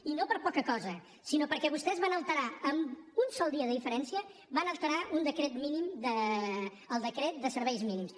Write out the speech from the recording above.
i no per poca cosa sinó perquè vostès van alterar amb un sol dia de diferència el decret de serveis mínims